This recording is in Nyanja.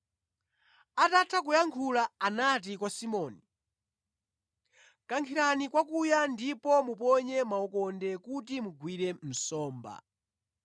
Atatha kuyankhula anati kwa Simoni, “Kankhirani kwa kuya ndipo muponye makhoka kuti mugwire nsomba.”